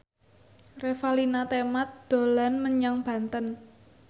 Revalina Temat dolan menyang Banten